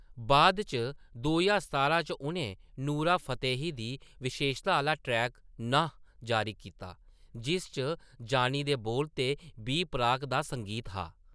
बाद इच दो ज्हार सतारां च उʼनें नूरा फ़तेही दी विशेशता आह्‌‌‌ला ट्रैक 'नाह' जारी कीता, जिस च जानी दे बोल ते बी प्राक दा संगीत हा।